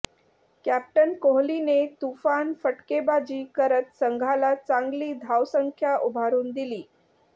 captain कोहलीने तुफान फटकेबाजी करत संघाला चांगली धावसंख्या उभारून दिली